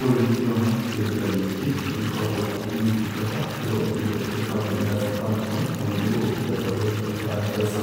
Ũrigũkĩona kĩndu ta gĩkĩ ũgĩkoragwo atĩ nĩ ũtungata ũrĩa ũkiumĩte kũrĩ kambuni ya Safaricom. Naguo nĩguo ũtungata ũrĩa ũgĩtagwo wa M-Pesa,